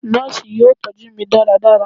Nọọsi yoo tọju mi ​​daradara